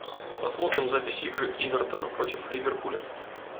посмотрим запись игры эвертона против ливерпуля